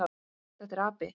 Þetta er api.